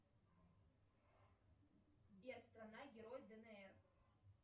сбер страна герой днр